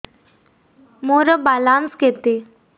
ମୋର ବାଲାନ୍ସ କେତେ